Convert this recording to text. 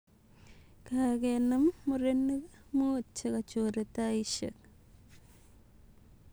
Kagenam murenik muut chegachore taishek